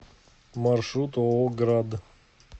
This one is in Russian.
маршрут ооо град